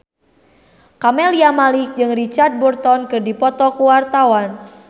Camelia Malik jeung Richard Burton keur dipoto ku wartawan